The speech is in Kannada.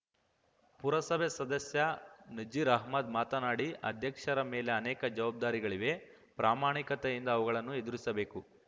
ಪುರಸಭೆ ಸದಸ್ಯ ನಜೀರ್‌ಅಹ್ಮದ್‌ ಮಾತನಾಡಿ ಅಧ್ಯಕ್ಷರ ಮೇಲೆ ಅನೇಕ ಜವಾಬ್ದಾರಿಗಳಿವೆ ಪ್ರಾಮಾಣಿಕತೆಯಿಂದ ಅವುಗಳನ್ನು ಎದುರಿಸಬೇಕು